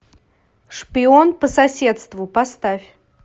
шпион по соседству поставь